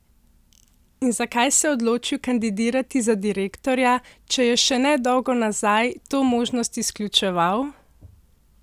In zakaj se je odločil kandidirati za direktorja, če je še ne dolgo nazaj to možnost izključeval?